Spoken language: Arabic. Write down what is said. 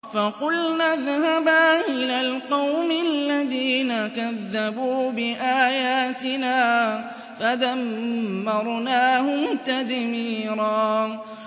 فَقُلْنَا اذْهَبَا إِلَى الْقَوْمِ الَّذِينَ كَذَّبُوا بِآيَاتِنَا فَدَمَّرْنَاهُمْ تَدْمِيرًا